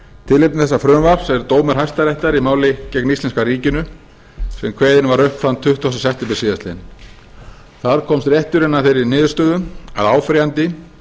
tilefni þessa frumvarps er dómur hæstaréttar í máli gegn íslenska ríkinu sem kveðinn var upp þann tuttugasta september síðastliðinn þar komst rétturinn að þeirri niðurstöðu að áfrýjandi